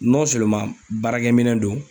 Nɔn seleman baarakɛ minɛ don